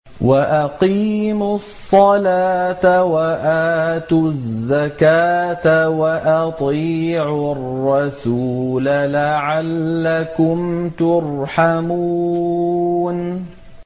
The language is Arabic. وَأَقِيمُوا الصَّلَاةَ وَآتُوا الزَّكَاةَ وَأَطِيعُوا الرَّسُولَ لَعَلَّكُمْ تُرْحَمُونَ